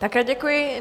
Také děkuji.